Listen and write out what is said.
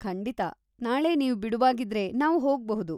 ಖಂಡಿತ, ನಾಳೆ ನೀವ್‌ ಬಿಡುವಾಗಿದ್ರೆ ನಾವ್‌ ಹೋಗ್ಬಹುದು.